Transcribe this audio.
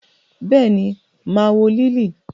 Béèni, maa wo Liili.